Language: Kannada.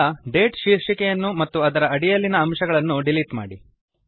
ಈಗ ಡೇಟ್ ಶೀರ್ಷಿಕೆಯನ್ನು ಮತ್ತು ಅದರ ಅಡಿಯಲ್ಲಿನ ಅಂಶಗಳನ್ನು ಡಿಲೀಟ್ ಮಾಡಿ